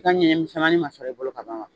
m'a sɔrɔ bolo ka ban wa?